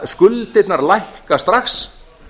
skuldirnar lækka strax